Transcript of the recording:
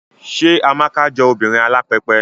Ṣé Amaka jọ obìnrin alápẹpẹ?